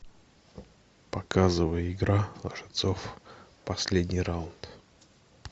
показывай игра лжецов последний раунд